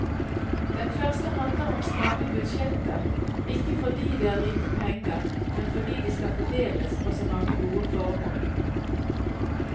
Den første handler om stramme budsjetter, ikke fordi det er lite penger, men fordi de skal fordeles på så mange gode formål.